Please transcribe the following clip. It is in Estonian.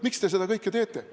Miks te seda kõike teete?